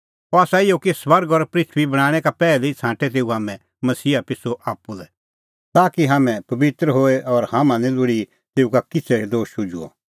अह आसा इहअ कि स्वर्ग और पृथूई बणांणैं का पैहलै ई छ़ांटै तेऊ हाम्हैं मसीहा पिछ़ू आप्पू लै ताकि हाम्हैं पबित्र होए और हाम्हां दी निं लोल़ी तेऊ का किछ़ै दोश शुझुअ